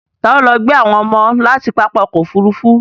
Ta ló lọ gbé àwọn ọmọ láti pápá ọkọ̀ Òfurufú?